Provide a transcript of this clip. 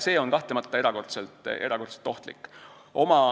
See on kahtlemata erakordselt ohtlik.